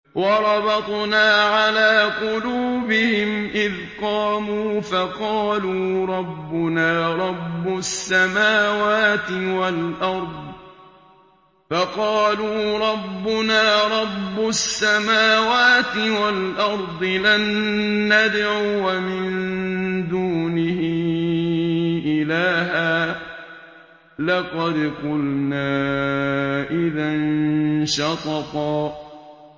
وَرَبَطْنَا عَلَىٰ قُلُوبِهِمْ إِذْ قَامُوا فَقَالُوا رَبُّنَا رَبُّ السَّمَاوَاتِ وَالْأَرْضِ لَن نَّدْعُوَ مِن دُونِهِ إِلَٰهًا ۖ لَّقَدْ قُلْنَا إِذًا شَطَطًا